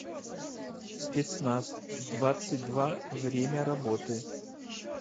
спецназ двадцать два время работы